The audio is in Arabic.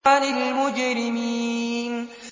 عَنِ الْمُجْرِمِينَ